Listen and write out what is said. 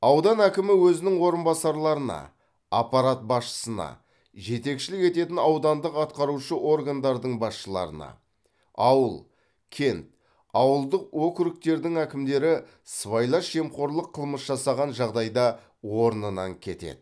аудан әкімі өзінің орынбасарларына аппарат басшысына жетекшілік ететін аудандық атқарушы органдардың басшыларына ауыл кент ауылдық округтердің әкімдері сыбайлас жемқорлық қылмыс жасаған жағдайда орнынан кетеді